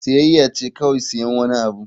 Siyayya ce kawai siyan wani abu.